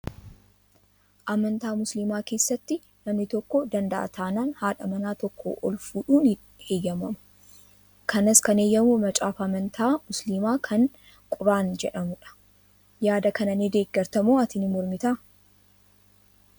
Amantaa musliimaa keessatti namni tokko danda'a taanaan haadha manaa tokkoo ol fuudhuun ni heeyyamama. Kanas kan heeyyamu macaafa amantaa musliimaa kan quraan jedhamudha. Yaada kana ni deeggarta moo ati ni mormitaa?